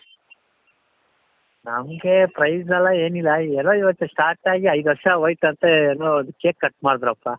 ನಮಗೆ prize ಎಲ್ಲಾ ಏನಿಲ್ಲ ಏನೋ ಇವತ್ತು start ಆಗಿ ಐದು ವರ್ಷ ಹೋಯ್ತoತೆ ಏನೋ cake cut ಮಾಡುದ್ರಪ್ಪ.